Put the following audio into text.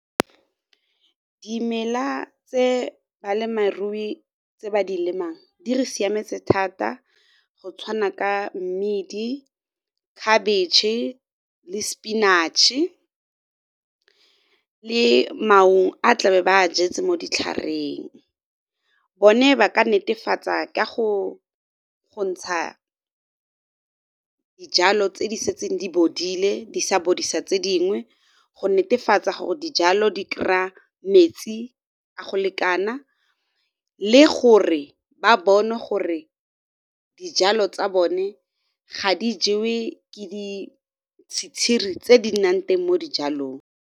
Dimela tse balemirui tse ba di lemang di re siametse thata go tshwana ka mmidi, khabetšhe le spinach le a tla be ba jetse mo ditlhareng. Bone ba ka netefatsa ka go ntsha dijalo tse di setseng di bodile di sa bodisa tse dingwe, go netefatsa gore dijalo di kry-a metsi a go lekana le gore ba bone gore dijalo tsa bone ga di jewe ke ditshitshiri tse di nnang teng mo dijalong.